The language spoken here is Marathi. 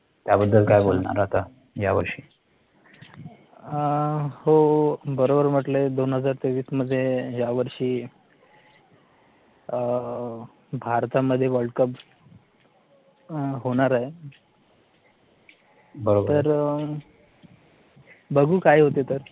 हो, बरोबर म्हटले दोन हजार तेवीस मध्ये यावर्षी भारतामध्ये वर्ल्ड-कप होणार आहे तर बघू काय होतंय ते